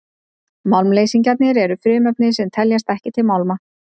málmleysingjar eru frumefni sem teljast ekki til málma